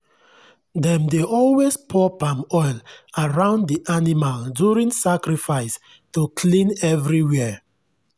dem dey always pour palm oil around the animal during sacrifice to clean everywhere.